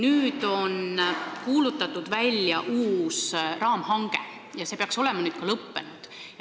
Välja on kuulutatud uus raamhange ja see peaks olema nüüdseks lõppenud.